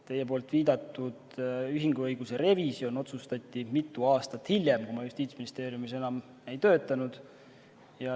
Teie viidatud ühinguõiguse revisjon otsustati mitu aastat hiljem, ajal, kui ma Justiitsministeeriumis enam ei töötanud.